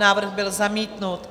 Návrh byl zamítnut.